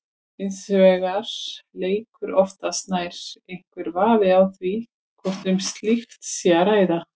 Hins vegar leikur oftast nær einhver vafi á því hvort um slíkt sé að ræða.